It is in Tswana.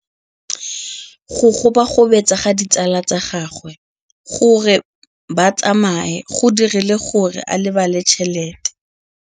Go gobagobetsa ga ditsala tsa gagwe, gore ba tsamaye go dirile gore a lebale tšhelete.